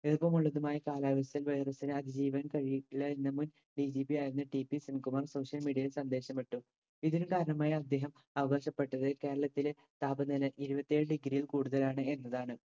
ഈർപ്പമുള്ളതുമായ കാലാവസ്ഥയിൽ virus ന് അതിജീവൻ കഴിയില്ല എന്ന് മുൻ DGP ആയിരുന്ന TP ശിവകുമാർ Social media യിൽ സന്ദേശമിട്ടു. ഇതിന് കാരണമായി അദ്ദേഹം അവകാശപ്പെട്ടത് കേരളത്തിലെ താപനില ഇരുപത്തേഴ് degree യിൽ കൂടുതലാണ് എന്നതാണ്.